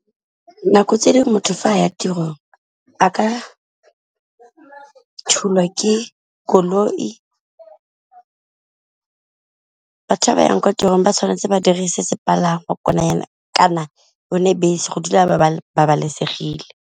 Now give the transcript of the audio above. Nako tse dingwe motho fa a ya tirong a ka thulwa ke koloi, batho ba ba yang kwa tirong ba tshwanetse ba dirise sepalangwa kana yone bese go dula ba babalesegile.